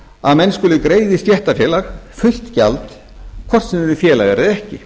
að menn skuli greiða í stéttarfélag fullt gjald hvort sem þeir eru félagar eða ekki